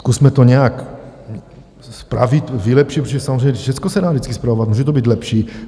Zkusme to nějak spravit, vylepšit, protože samozřejmě všecko se dá vždycky spravovat, může to být lepší.